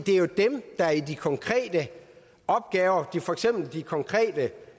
er jo dem der i de konkrete opgaver for eksempel de konkrete